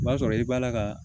O b'a sɔrɔ i b'a la ka